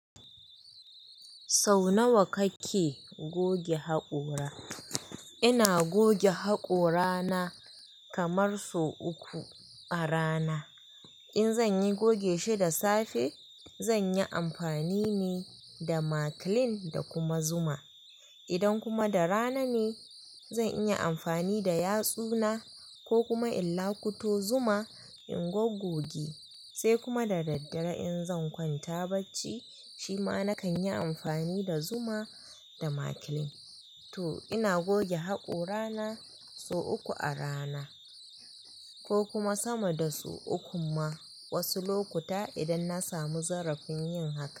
Sau nawa kake goge haƙora? Ina goge haƙora na kamar sau uku a rana. In zan yi goge shi da safe, zan yi amfani ne da Makilin da kuma Zuma. Idan kuma da rana ne, zan iya amfani da yatsu na ko kuma in lakuto Zuma in goggoge, sai kuma da daddare in zan kwanta bacci, shi ma na kan yi amfani da Zuma da Makilin. To ina goge haƙora na sau uku a rana ko kuma sama da sau uku ma wasu lokuta idan na samu zarafin yin haka.